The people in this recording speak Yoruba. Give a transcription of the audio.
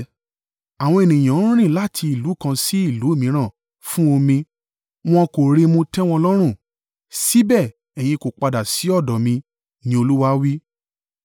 Àwọn ènìyàn ń rìn láti ìlú kan sí ìlú mìíràn fún omi wọn kò rí mu tẹ́ wọn lọ́rùn, síbẹ̀ ẹ̀yin kò padà sí ọ̀dọ̀ mi,” ni Olúwa wí.